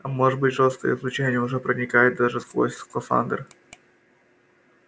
а может быть жёсткое излучение уже проникает даже сквозь скафандр